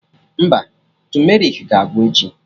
Mba, tumerik ga-agwụ echi